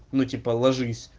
ну типа ложись